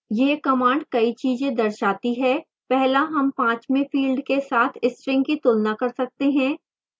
यह command कई चीजें दर्शाती है